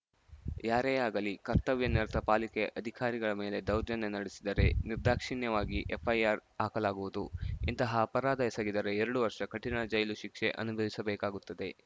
ಯಾರೇ ಆಗಲಿ ಕರ್ತವ್ಯ ನಿರತ ಪಾಲಿಕೆ ಅಧಿಕಾರಿಗಳ ಮೇಲೆ ದೌರ್ಜನ್ಯ ನಡೆಸಿದರೆ ನಿರ್ಧಾಕ್ಷಿಣ್ಯವಾಗಿ ಎಫ್‌ಐಆರ್‌ ಹಾಕಲಾಗುವುದು ಇಂತಹ ಅಪರಾಧ ಎಸಗಿದರೆ ಎರಡು ವರ್ಷ ಕಠಿಣ ಜೈಲು ಶಿಕ್ಷೆ ಅನುಭವಿಸಬೇಕಾಗುತ್ತೆ